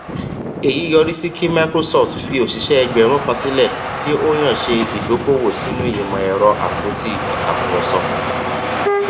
èyí yọrí sí kí microsoft fi òṣìṣẹ egbààrún sílẹ tí ó yàn ṣe ìdókòwò sínú ìmọ ẹrọ àpótí ìtàkùrọsọ